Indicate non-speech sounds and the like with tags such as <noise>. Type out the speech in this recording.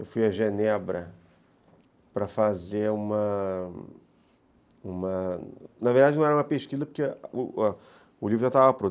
Eu fui a Genebra para fazer uma... Na verdade, não era uma pesquisa, porque <hesitation> o livro já estava pronto.